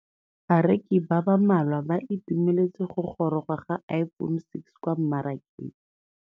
Bareki ba ba malwa ba ituemeletse go gôrôga ga Iphone6 kwa mmarakeng.